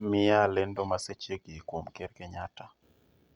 Miya lendo ma sechegi kuom ker kenyatta